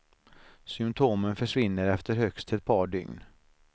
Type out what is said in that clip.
Symptomen försvinner efter högst ett par dygn.